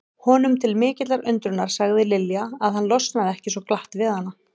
Honum til mikillar undrunar sagði Lilja að hann losnaði ekki svo glatt við hana.